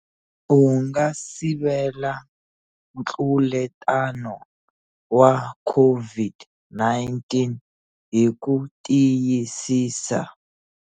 U nga sivela ntluletano wa COVID-19 hi ku tiyisisa.